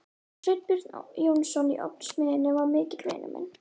Sveinbjörn Jónsson í Ofnasmiðjunni var mikill vinur minn.